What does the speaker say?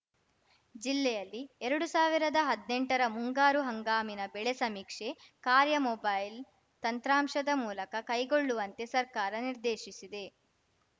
ಜಿಲ್ಲೆಯಲ್ಲಿ ಎರಡು ಸಾವಿರದ ಹದ್ನೆಂಟರ ಮುಂಗಾರು ಹಂಗಾಮಿನ ಬೆಳೆ ಸಮೀಕ್ಷೆ ಕಾರ್ಯ ಮೊಬೈಲ್‌ ತಂತ್ರಾಂಶದ ಮೂಲಕ ಕೈಗೊಳ್ಳುವಂತೆ ಸರ್ಕಾರ ನಿರ್ದೇಶಿಸಿದೆ